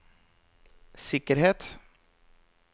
sikkerhet